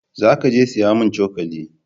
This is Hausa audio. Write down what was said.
Za ka je saya mun cokali